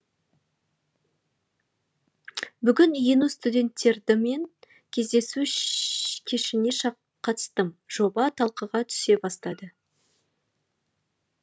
бүгін ену студенттердімен кездесу кешіне қатыстым жоба талқыға түсе бастады